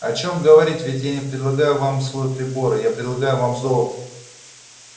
о чем говорить ведь я не предлагаю вам свой прибор я предлагаю вам золото